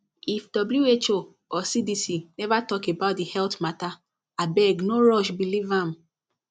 if who or cdc never talk about the health matter abeg no rush believe am